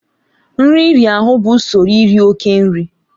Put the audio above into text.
Nri iri ahụ bụ usoro iri oke nri.